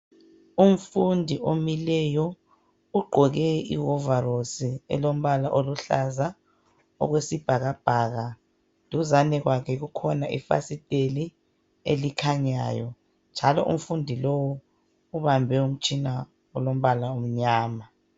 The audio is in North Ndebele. Umfundi omileyo ugqoke iwovarosi elombala oluhlaza okwesibhakabhaka. Duzane kwakhe kukhona ifasiteli elikhanyayo njalo umfundi lowu ubambe umtshina olombala omnyama.